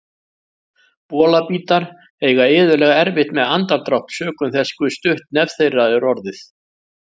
Bolabítar eiga iðulega erfitt með andardrátt sökum þess hve stutt nef þeirra er orðið.